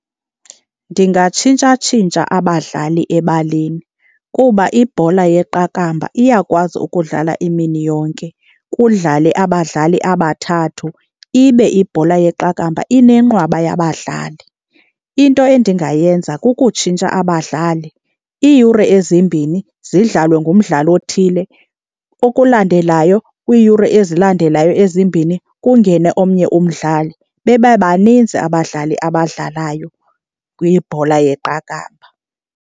Ndingatshintshatshintsha abadlali ebaleni kuba ibhola yeqakamba iyakwazi ukudlala imini yonke kudlale abadlali abathathu, ibe ibhola yeqakamba inenqwaba yabadlali. Into endingayenza kukutshintsha abadlali, iiyure ezimbini zidlalwe ngumdlali othile okulandelayo kwiiyure ezilandelayo ezimbini kungene omnye umdlali, babe baninzi abadlali abadlalayo kwibhola yeqakamba.